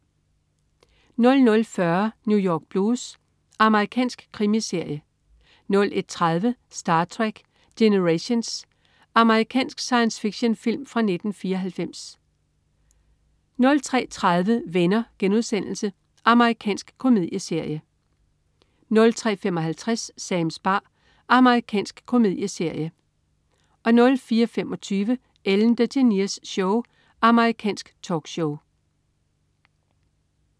00.40 New York Blues. Amerikansk krimiserie 01.30 Star Trek: Generations. Amerikansk science fiction-film fra 1994 03.30 Venner.* Amerikansk komedieserie 03.55 Sams bar. Amerikansk komedieserie 04.25 Ellen DeGeneres Show. Amerikansk talkshow